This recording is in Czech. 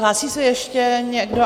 Hlásí se ještě někdo?